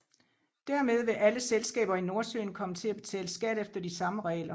Dermed vil alle selskaber i Nordsøen komme til at betale skat efter de samme regler